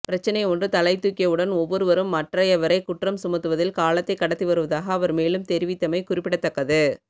பிரச்சினை ஒன்று தலைதூக்கியவுடன் ஒவ்வொருவரும் மற்றையவரை குற்றம் சுமத்துவதில் காலத்தை கடத்தி வருவதாக அவர் மேலும் தெரிவித்தமை குறிப்பிடத்தக்கது